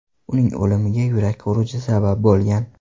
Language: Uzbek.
Uning o‘limiga yurak xuruji sabab bo‘lgan .